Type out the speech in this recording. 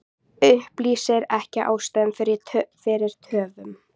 Upplýsir ekki ástæður fyrir töfum